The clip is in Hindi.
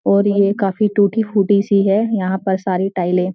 और ये कफी (काफी) टूटी-फूटी सी है यहां पे सारें टाइले ।